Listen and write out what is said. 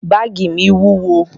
Báàgì mi wúwo.